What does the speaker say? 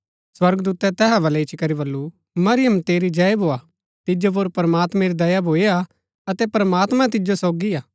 स्वर्गदूतै तैहा वल्लै इच्ची करी बल्लू मरीयम तेरी जय भोआ तिजो पुर प्रमात्मैं री दया भूई हा अतै प्रमात्मां तिजो सोगी हा